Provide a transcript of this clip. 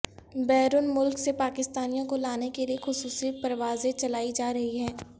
بیرون ملک سے پاکستانیوں کو لانے کے لیے خصوصی پروازیں چلائی جا رہی ہیں